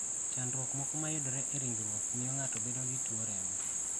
Chandruok moko ma yudore e ringruok miyo ng�ato bedo gi tuwo remo.